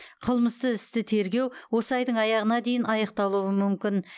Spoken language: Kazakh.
қылмысты істі тергеу осы айдың аяғына дейін аяқталуы мүмкін